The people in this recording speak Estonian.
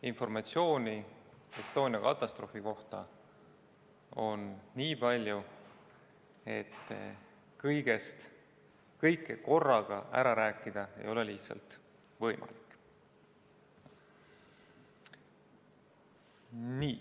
Informatsiooni Estonia katastroofi kohta on nii palju, et kõike korraga ära rääkida ei ole lihtsalt võimalik.